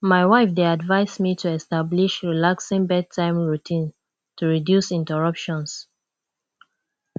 my wife dey advise me to establish relaxing bedtime routine to reduce interruptions